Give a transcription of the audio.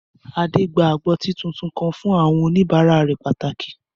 Adé gba agbọ́tí tuntun kan fún àwọn òníbàárà rẹ̀ pàtàkì